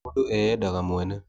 Mũndũ eyendaga mwene.